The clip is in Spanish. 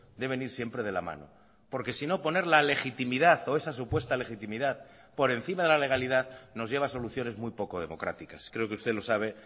deben ir siempre de la mano porque sino poner la legitimidad o esa supuesta legitimidad por encima de la legalidad nos lleva a soluciones muy poco democráticas creo que usted lo sabe